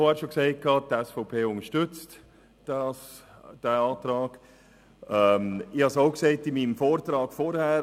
Ich habe es auch in meinem vorherigen Votum gesagt: